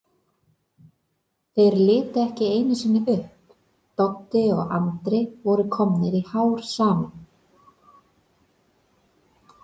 Þeir litu ekki einusinni upp, Doddi og Andri voru komnir í hár saman.